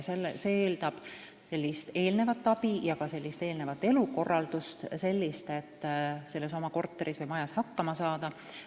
See eeldab eelnevat abi ja ka sellist elukorraldust, et oma korteris või majas hakkama saada.